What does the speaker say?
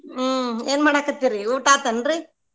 ಹ್ಮ್ ಏನ್ ಮಾಡಾಕತ್ತೀರಿ ಊಟ ಆತನ್ರೀ?